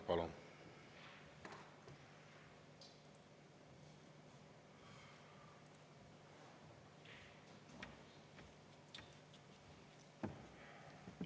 Palun!